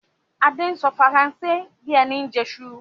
Adé ń sọ Faransé bí ẹni ń jẹsu